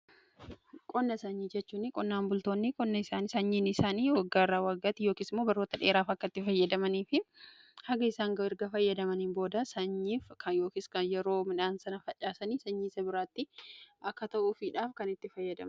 qonna sanyii jechuuni qonnaan bultoonni qonna sanyiin isaanii waggaa irraa waggaatti yookiisimmoo baroota dheeraaf akka itti fayyadamanii fi haga isaan gahu erga fayyadamanii booda sanyii kan yeroo midhaan sana facaasanii sanyiisa biraatti akka ta'uu fiidha kan itti fayyadaman.